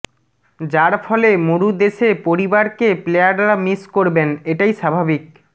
যার ফলে মরু দেশে পরিবারকে প্লেয়ররা মিস করেবন এটাই স্বাভাবিক